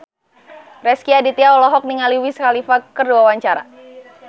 Rezky Aditya olohok ningali Wiz Khalifa keur diwawancara